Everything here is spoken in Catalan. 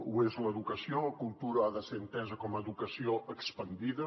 ho és l’educació la cultura ha de ser entesa com a educació expandida